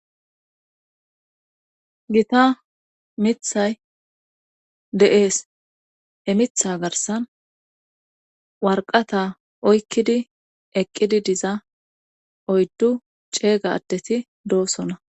gita mithay de7ees he mitha garsan warqata oykkidi eqqidi diza oyddu ceega addeti doosona